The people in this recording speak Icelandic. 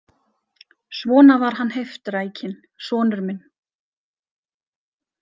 Svona var hann heiftrækinn, sonur minn.